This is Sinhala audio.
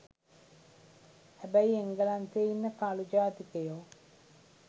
හැබැයි එංගලන්තේ ඉන්න කළු ජාතිකයෝ